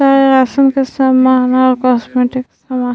और सामान और कॉस्मेटिक सामान --